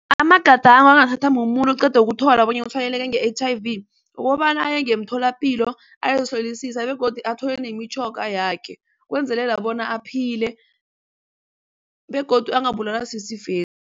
Amagadango angathatha mumuntu oqeda ukuthola bona utshwayeleke nge-H_I_V ukobana aye ngemtholapilo ayozihlolisa begodu athole nemitjhoga yakhe ukwenzelela bona aphile begodu angabulawa sisifesi.